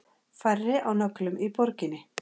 Færri á nöglum í borginni